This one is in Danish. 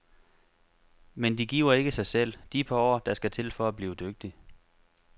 Men de giver ikke sig selv, de par år, der skal til for at blive dygtig.